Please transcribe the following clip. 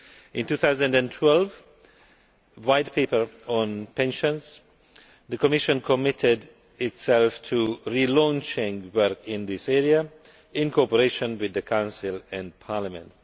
In 2012, in a White Paper on pensions, the Commission committed itself to launching work in this area, in cooperation with the Council and Parliament.